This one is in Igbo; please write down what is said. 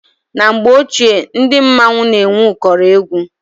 Na mgbe ochie ndị mmọnwụ na-enwe ụkọrọ egwu.